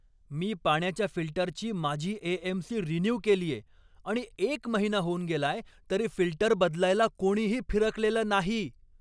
मी पाण्याच्या फिल्टरची माझी ए. एम. सी. रिन्यू केलीये, आणि एक महिना होऊन गेलाय तरी फिल्टर बदलायला कोणीही फिरकलेलं नाही.